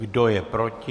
Kdo je proti?